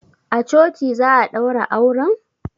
A coci za a daura auren?